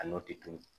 A n'o tɛ tunun